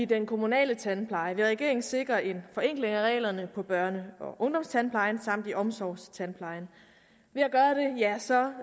den kommunale tandpleje vil regeringen sikre en forenkling af reglerne på børne og ungdomstandplejen samt i omsorgstandplejen